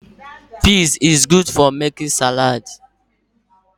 Pizs is good for making salaadi.